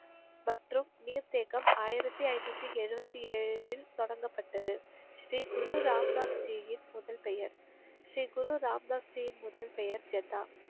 மற்றும் நீர் தேக்கம் ஆயிரத்தி ஐநூத்தி எழுபத்தி ஏழில் தொடங்கப்பட்டது. ஸ்ரீ குரு ராம் தாஸ் ஜியின் முதல் பெயர் ஸ்ரீ குரு ராம் தாஸ் ஜியின் முதல் பெயர் ஜதா.